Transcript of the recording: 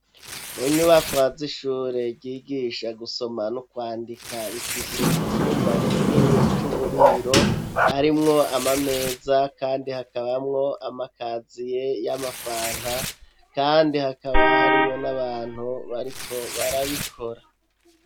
Mu nyubakwa z'ishure ryigisha gusoma n'ukwandika rifise icumba kinini c'uburiro arimwo amameza kandi hakabamwo amakazi ye y'amafana kandi hakaba harimwo n'abantu bariko barabikora.